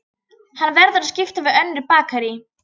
Hann verður að skipta við önnur bakarí.